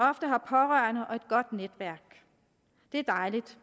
har pårørende og et godt netværk det er dejligt